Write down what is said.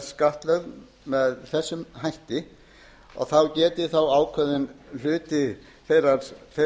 skattlögð með þessum hætti og þá geti ákveðinn hluti þeirrar